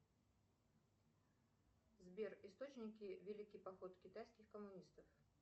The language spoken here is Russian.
сбер источники великий поход китайских коммунистов